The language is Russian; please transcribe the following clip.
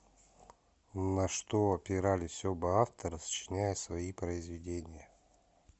на что опирались оба автора сочиняя свои произведения